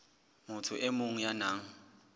motho e mong ya nang